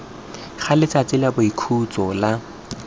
ga letsatsi la boikhutso la